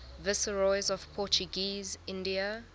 viceroys of portuguese india